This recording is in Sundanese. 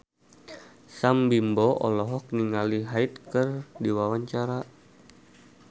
Sam Bimbo olohok ningali Hyde keur diwawancara